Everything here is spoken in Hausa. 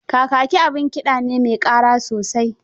Kakaki abin kiɗa ne me ƙara sosai.